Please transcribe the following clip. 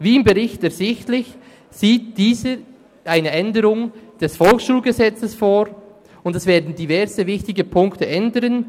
Wie im Bericht ersichtlich, sieht dieser eine Änderung des VSG vor, und es werden diverse wichtige Punkte ändern: